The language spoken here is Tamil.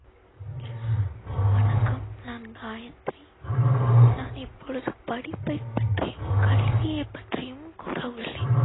வணக்கம் நான் காயத்ரி. நான் இப்பொழுது படிப்பை பற்றியும் கல்வியை பற்றியும் கூற உள்ளேன்.